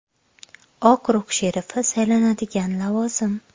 Okrug sherifi saylanadigan lavozim.